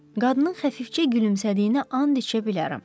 Qadının xəfifcə gülümsədiyinə and içə bilərəm.